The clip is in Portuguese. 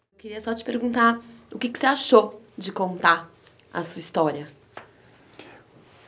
Eu queria só te perguntar o que você achou de contar a sua história?